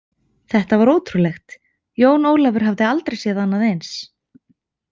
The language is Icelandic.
Þetta var ótrúlegt, Jón Ólafur hafði aldrei séð annað eins.